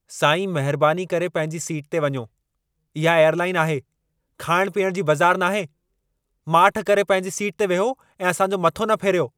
साईं, महिरबानी करे पंहिंजी सीट ते वञो। इहा एयरलाइन आहे, खाइण-पीअण जी बज़ारु नाहे! माठ करे पंहिंजी सीट ते वियो ऐं असां जो मथो न फेरियो।